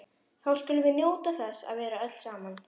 Þá skulum við njóta þess að vera öll saman.